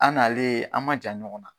An n'ale an ma jan ɲɔgɔn na.